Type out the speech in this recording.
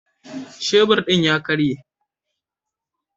Shebur din ya karye.